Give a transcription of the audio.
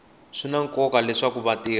swi na nkoka leswaku vatirhi